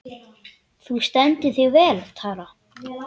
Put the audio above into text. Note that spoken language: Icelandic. Þú stendur þig vel, Tara!